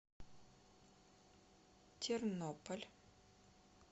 тернополь